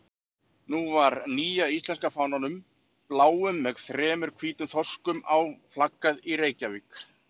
Nú var nýja íslenska fánanum, bláum með þremur hvítum þorskum á, flaggað í Reykjavík.